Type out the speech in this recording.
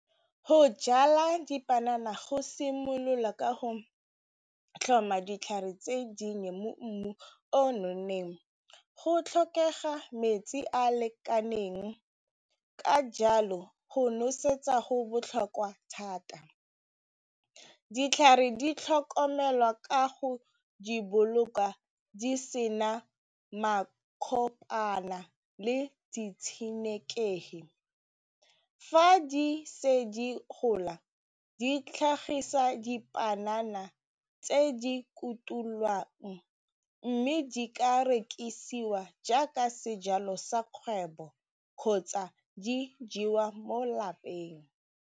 Go jala dipanana go simolola ka go tlhoma ditlhare tse dinnye mo mmung o nonneng go tlhokega metsi a a lekaneng ka jalo go nosetsa go botlhokwa thata, ditlhare di tlhokomelwa ka go di boloka di se na le ditshenekegi fa di se di gola di tlhagisa dipanana tse di kutulwang mme di ka rekisiwa jaaka sejalo sa kgwebo kgotsa di jewa mo lapeng.